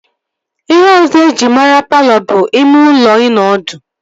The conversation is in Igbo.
Ihe ọzọ eji mara palọ bụ ime ụlọ ịnọ ọdụ